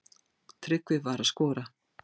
Tryggvi var að skora.